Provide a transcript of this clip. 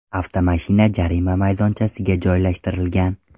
Avtomashina jarima maydonchasiga joylashtirilgan.